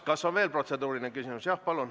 Kas on veel protseduurilisi küsimusi?